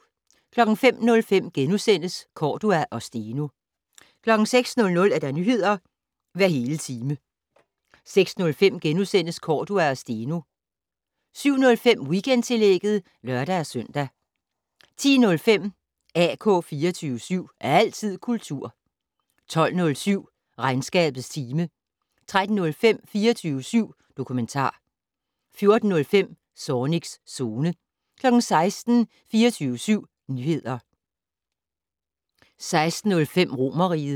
05:05: Cordua og Steno * 06:00: Nyheder hver hele time 06:05: Cordua og Steno * 07:05: Weekendtillægget (lør-søn) 10:05: AK 24syv. Altid kultur 12:07: Regnskabets time 13:05: 24syv dokumentar 14:05: Zornigs Zone 16:00: 24syv Nyheder 16:05: Romerriget